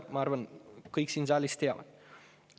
Ma arvan, et seda kõik siin saalis teavad.